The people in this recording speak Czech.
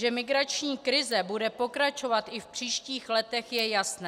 Že migrační krize bude pokračovat i v příštích letech, je jasné.